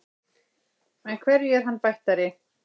En hverju er hann bættari?